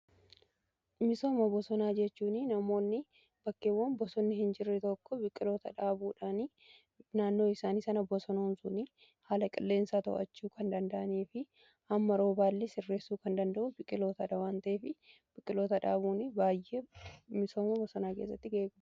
Misooma bosonaa jechuun namoonni bakkeewwan bosonni hin jirre tokko biqiloota dhaabuudhaan naannoo isaanii sana bosanoomsuun haala qilleensaa to'achuu kan danda'anii fi hamma roobaallee sirreessuu kan danda'u biqiloota dhawan ta'ee fi biqiltoota dhaabuun baay'ee misooma bosonaa keessatti eeguu.